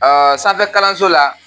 sanfɛ kalanso la